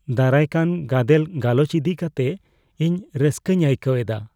ᱫᱟᱨᱟᱭ ᱠᱟᱱ ᱜᱟᱫᱮᱞ ᱜᱟᱞᱚᱪ ᱤᱫᱤ ᱠᱟᱛᱮ ᱤᱧ ᱨᱟᱹᱥᱠᱟᱹᱧ ᱟᱹᱭᱠᱟᱹᱣ ᱮᱫᱟ ᱾